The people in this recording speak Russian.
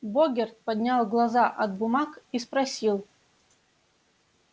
богерт поднял глаза от бумаг и спросил